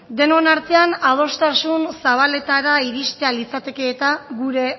denon artean adostasun zabaletara iristea litzateke gure